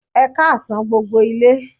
Ẹ káàsán gbogbo ilé